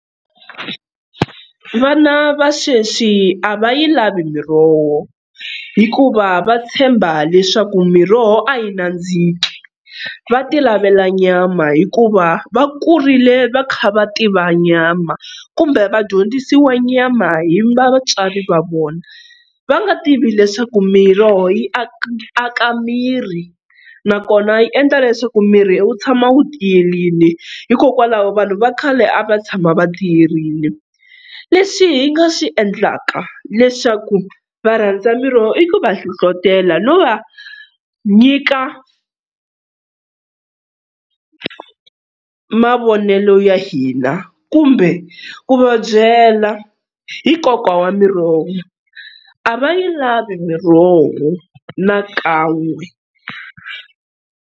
Vana va sweswi a va yi lavi miroho hikuva va tshemba leswaku miroho a yi nandziki va ti lavela nyama hikuva va kurile va kha va tiva nyama kumbe vadyondzisiwa nyama hi vatswari va vona va nga tivi leswaku miroho yi aka miri na kona yi endla leswaku miri wu tshama wu tiyerini hikokwalaho vanhu va khale a va tshama va tiyeini. Leswi hi nga swi endlaka leswaku va rhandza miroho i ku va hlohlotelo no va nyika mavonelo ya hina kumbe ku va byela hi konka wa miroho, a va yi lavi miroho na kan'we.